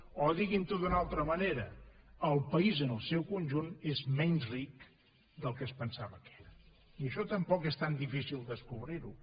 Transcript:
o diguin ho d’una altra manera el país en el seu conjunt és menys ric del que es pensava que era i això tampoc és tan difícil descobrir ho